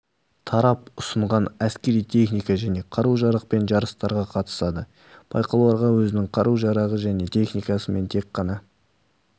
тарап ұсынған әскери техника және қару-жарақпен жарыстарға қатысады байқауларға өзінің қару-жарағы және техникасымен тек қана